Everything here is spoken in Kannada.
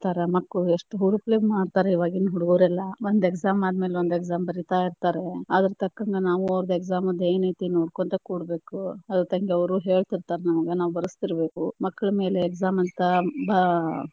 ಏಳ ತಾರ ಮಕ್ಕಳು ಎಷ್ಟ ಹುರುಪಲೆ ಮಾಡ್ತಾರ ಹುಡುಗುರ ಎಲ್ಲಾ, ಒಂದ exam ಆದ್ಮೇಲೆ ಒಂದ exam ಬರೀತಾ ಇರ್ತಾರ. ಅದ್ರತಕ್ಕಂಗ ನಾವು ಅವ್ರ exam ದ ಏನೈತಿ ನೋಡ್ಕೊಂತ ಕೂರ್ಬೇಕು , ಅದ್ರತಕ್ಕಂಗೆ ಅವ್ರು ಹೇಳತೀರ್ತಾರ ನಮಗ ನಾವ ಬರಸತಿರಬೇಕು, ಮಕ್ಕಳ ಮೇಲೆ exam ಅಂತ ಅಹ್.